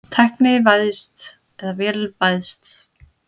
Tæknivæðst eða vélvæðst?